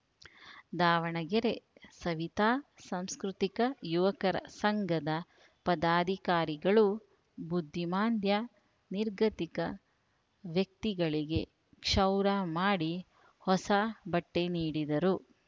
ದಾವಣಗೆರೆ ಸವಿತಾ ಸಾಂಸ್ಕೃತಿಕ ಯುವಕರ ಸಂಘದ ಪದಾಧಿಕಾರಿಗಳು ಬುದ್ದಿಮಾಂದ್ಯ ನಿರ್ಗತಿಕ ವ್ಯಕ್ತಿಗಳಿಗೆ ಕ್ಷೌರ ಮಾಡಿ ಹೊಸ ಬಟ್ಟೆನೀಡಿದರು